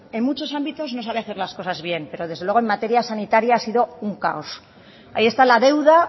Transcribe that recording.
en muchos ámbitos no sabe hacer las cosas bien pero desde luego en materia sanitaria ha sido un caos ahí está la deuda